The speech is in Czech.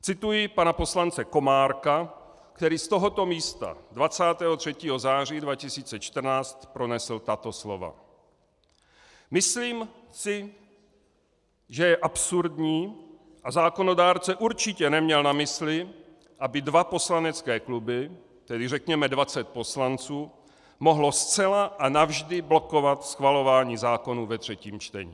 Cituji pana poslance Komárka, který z tohoto místa 23. září 2014 pronesl tato slova: Myslím si, že je absurdní a zákonodárce určitě neměl na mysli, aby dva poslanecké kluby, tedy řekněme 20 poslanců, mohly zcela a navždy blokovat schvalování zákonů ve třetím čtení.